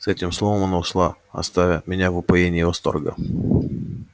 с этим словом она ушла оставя меня в упоении восторга